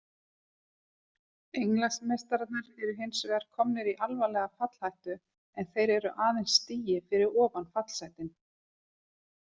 Englandsmeistararnir eru hinsvegar komnir í alvarlega fallhættu en þeir eru aðeins stigi fyrir ofan fallsætin.